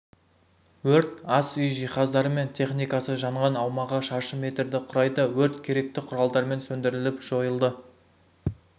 өрт ас үй жиһаздары мен техникасы жанған аумағы шаршы метрді құрайды өрт керекті құралдармен сөндіріліп жойылды